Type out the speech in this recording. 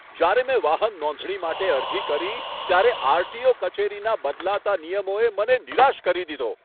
જ્યારે મેં વાહન નોંધણી માટે અરજી કરી ત્યારે આર.ટી.ઓ. કચેરીના બદલાતા નિયમોએ મને નિરાશ કરી દીધો.